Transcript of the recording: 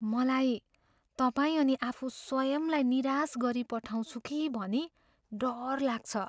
मलाई तपाईँ अनि आफू स्वयंलाई निराश गरिपठाउँछु कि भनी डर लाग्छ।